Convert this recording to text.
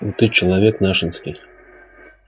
ну ты человек нашенский